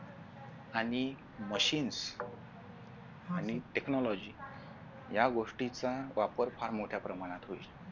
आणि machines आणि technology या गोष्टीचा वापर फार मोठ्या प्रमाणात होईल